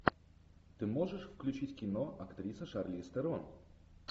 ты можешь включить кино актриса шарлиз терон